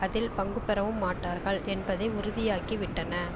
அதில் பங்கு பெறவும் மாட்டார்கள் என்பதை உறுதியாக்கிவிட்டன